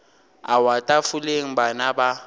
a wa tafoleng bana ba